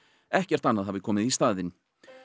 ekkert annað hafi komið í staðinn